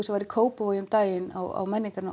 sem var í Kópavogi um daginn á